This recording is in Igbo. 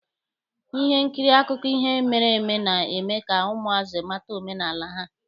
Ihe nkiri akụkọ ihe mere eme na-eme ka ụmụazị mata omenala ha.